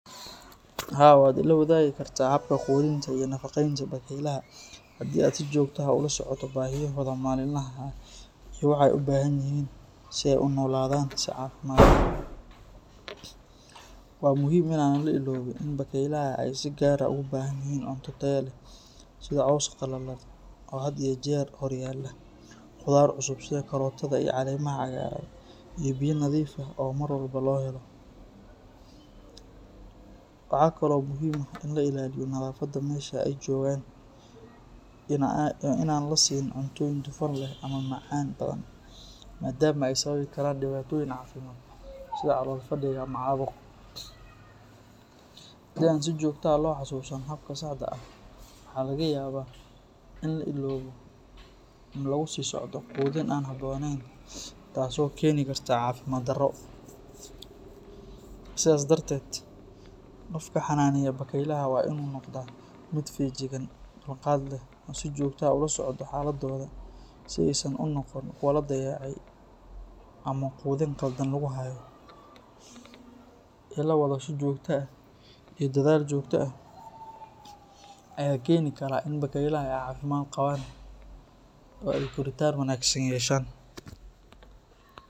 Haa, waad ila wadagi kartaa habka quudinta iyo nafaqeynta bakaylaha haddii aad si joogto ah ula socoto baahiyahooda maalinlaha ah iyo waxa ay u baahan yihiin si ay u noolaadaan si caafimaad leh. Waa muhiim in aan la iloobin in bakaylaha ay si gaar ah ugu baahan yihiin cunto tayo leh sida caws qalalan oo had iyo jeer hor yaalla, khudaar cusub sida karootada iyo caleemaha cagaaran, iyo biyo nadiif ah oo mar walba loo helo. Waxaa kale oo muhiim ah in la ilaaliyo nadaafadda meesha ay joogaan iyo in aan la siin cuntooyin dufan leh ama macaan badan maadaama ay sababi karaan dhibaatooyin caafimaad sida calool fadhiga ama caabuq. Haddii aan si joogto ah loo xasuusan habkan saxda ah, waxaa laga yaabaa in la iloobo ama lagu sii socdo quudin aan habboonayn taasoo keeni karta caafimaad darro. Sidaa darteed, qofka xannaaneeya bakaylaha waa in uu noqdaa mid feejigan, dulqaad leh, oo si joogto ah ula socda xaaladdooda si aysan u noqon kuwo la dayacay ama quudin qaldan lagu hayo. Ila wadasho joogto ah iyo dadaal joogto ah ayaa keeni kara in bakaylaha ay caafimaad qabaan oo ay koritaan wanaagsan yeeshaan.